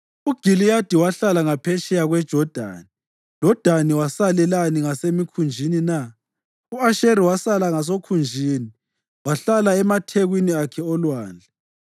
UGiliyadi wahlala ngaphetsheya kweJodani. LoDani wasalelani ngasemikhunjini na? U-Asheri wasala ngasokhunjini wahlala emathekwini akhe olwandle.